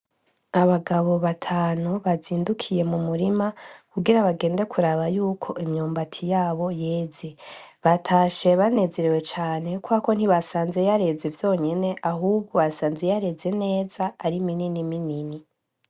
Abagabo batanu bazindukiye mumurima kugira bagende kuraba yuko imyumbati yabo yeze batashe banezerewe cane kuko ntibasanze yareze vyonyene ahubwo basanze yareze neza ari minini minini.